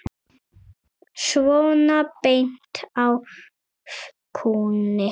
Svona beint af kúnni.